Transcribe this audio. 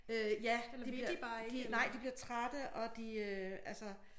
Øh ja de bliver de nej de bliver trætte og de øh altså